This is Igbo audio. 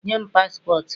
Nye m paspọtụ m